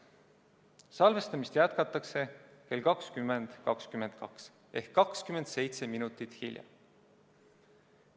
Salvestamist jätkatakse kell 20.22 ehk 27 minutit hiljem.